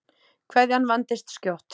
Kveðjan vandist skjótt.